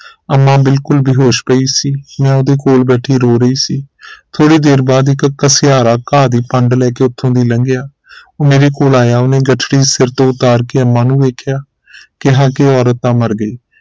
ਅੰਮਾ ਬਿਲਕੁਲ ਬੇਹੋਸ਼ ਪਈ ਸੀ ਮੈਂ ਉਹਦੇ ਕੋਲ ਬੈਠੀ ਰੋ ਰਹੀ ਸੀ ਥੋੜੀ ਦੇਰ ਬਾਅਦ ਇਕ ਘਸਿਆਰਾ ਘਾਹ ਦੀ ਭੰਡ ਲੈ ਕੇ ਉਥੋਂ ਤੀ ਲੰਘਿਆ ਮੇਰੇ ਕੋਲ ਆਇਆ ਉਹਨੇ ਗਠੜੀ ਸਿਰ ਤੋਂ ਉਤਾਰ ਕੇ ਅੰਮਾ ਨੂੰ ਵੇਖਿਆ ਕਿਹਾ ਕਿ ਇਹ ਔਰਤ ਤਾਂ ਮਰ ਗਈ